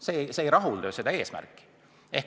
See ei täida ju seatud eesmärki.